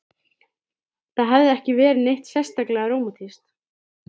Það hafði ekki verið neitt sérstaklega rómantískt.